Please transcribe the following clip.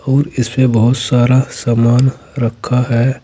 और इसमें बहुत सारा सामान रखा है।